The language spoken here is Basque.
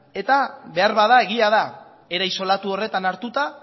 eta beharbada egia da era isolatu horretan hartuta